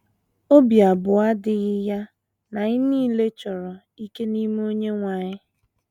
Obi abụọ adịghị ya na anyị nile chọrọ “ ike n’ime Onyenwe anyị. ”